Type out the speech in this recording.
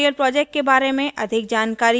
spoken tutorial project के बारें में अधिक जानने के लिए